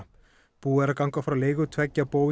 búið er að ganga frá leigu tveggja